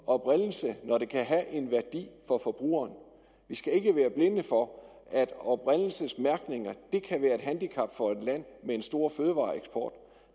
oprindelse når det kan have en værdi for forbrugeren vi skal ikke være blinde for at oprindelsesmærkning kan være et handicap for et land med en stor fødevareeksport